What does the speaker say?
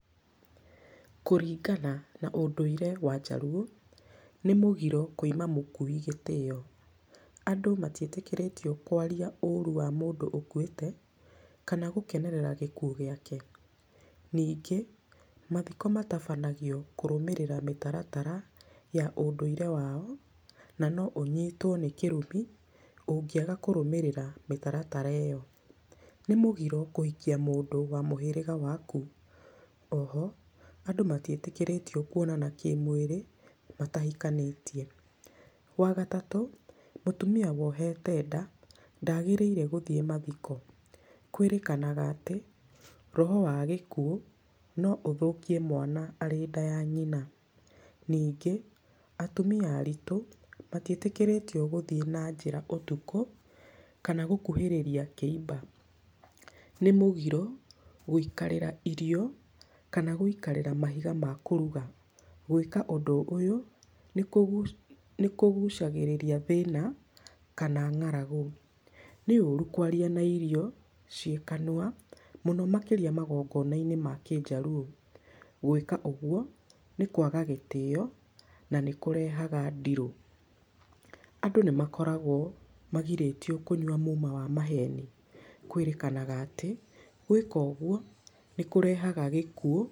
Kũringana na ũndũire wa Jaruo, nĩ mũgiro kwĩima mũkui gĩtĩyo. Andũ matiĩtĩkĩrĩtio kwaria ũru wa mũndũ ũkuĩte kana gũkenerera gĩkuũ gĩake. Ningĩ, mathiko matabanagio kũrũmirĩra mĩtaratara ya ũndũire wao, na no ũnyitwo nĩ kĩrumi ũngĩaga kũrũmĩrĩra mĩtaratara ĩyo. Nĩ mũgiro kũhikia mũndũ wa mũhĩrĩga waku. Oho, andũ matiĩtĩkĩrĩtio kwonana kĩmwĩrĩ matahikanĩtie. Wa gatatũ, mũtumia wohete nda ndagĩrĩire gũthiĩ mathiko. Kwĩrĩkanaga atĩ roho wa gĩkuũ no ũthũkie mwana arĩ nda ya nyina. Ningĩ, atumia aritũ matiĩtĩkĩrĩtio gũthiĩ na njĩra ũtukũ kana gũkuhĩrĩria kĩimba. Nĩ mũgiro gwĩikarĩra irio kana gwĩikarĩra mahiga ma kũruga. Gwĩka ũndũ ũyũ nĩ kũgu, nĩ kũgucagĩrĩria thĩna kana ng'aragu. Nĩ ũru kwaria na irio ciĩ kanua mũno makĩria magongona-inĩ ma kĩjaruo. Gwĩka ũgwo nĩ kwaga gĩtĩyo na nĩkũrehaga ndirũ. Andũ nĩ makoragwo magirĩtio kũnyua muma wa maheni, kwĩrĩkanaga atĩ, gwĩka ũgwo nĩ kũrehaga gĩkuũ.